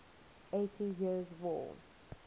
eighty years war